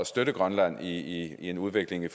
støtte grønland i en udvikling i